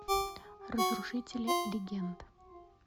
разрушители легенд